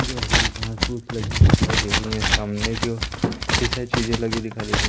ये हरी-हरी घास पुस लगी दिखाई दे रही सामने की ओर कई सारी चीजें लगी दिखाई दे रही --